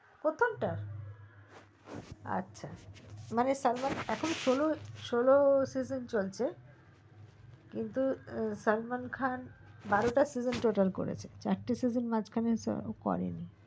প্রথম টা আচ্ছা মানে সালমাল খান এখন ষোল ষোল season চলছে কিন্তু সালমান খান বারোটা season total করেছে একটা season মাঝখানে করেনি